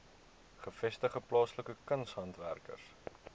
gevestigde plaaslike kunshandwerkers